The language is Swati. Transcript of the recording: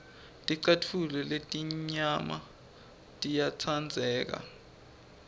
ticatfulo letimnyama tiyatsandleka